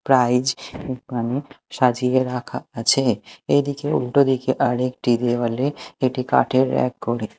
prize ওখানে সাজিয়ে রাখা আছে এদিকে উল্টোদিকে আরেকটি দেওয়ালে এটি কাঠের এক কোণে--